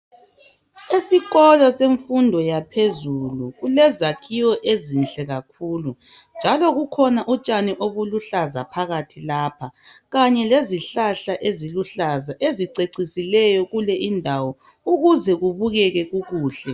Esikolo semfundo yaphezulu kulezakhiwo ezinhle kakhulu njalo kukhona utshani ubuluhlaza phakathi lapha Kanye lezihlahla eziluhlaza ezicecisileyo kuleyi ndawo ukuze okubukeke kukuhle.